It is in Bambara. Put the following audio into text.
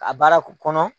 A baara kɔnɔ